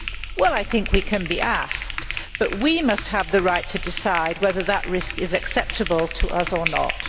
Well I think we can be asked, but we must have the right to decide whether that risk is acceptable to us or not.